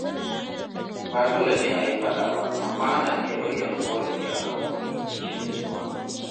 Ba dole ne a yi faɗa ba, amma ana iya bayyana ƙorafi a kan wani cikin nutsuwa.